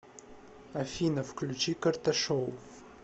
афина включи карташов